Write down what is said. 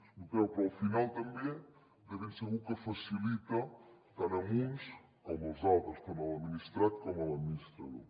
escolteu però al final també de ben segur que ho facilita tant a uns com als altres tant a l’administrat com a l’administrador